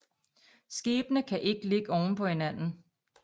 Skibene kan ikke ligge oven på hinanden